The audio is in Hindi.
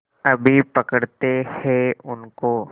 अभी पकड़ते हैं उनको